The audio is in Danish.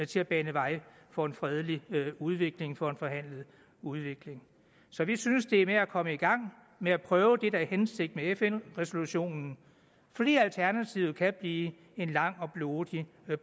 til at bane vejen for en fredelig udvikling for en forhandlet udvikling så vi synes det er med at komme i gang med at prøve det der er hensigten med fn resolutionen fordi alternativet kan blive en lang og blodig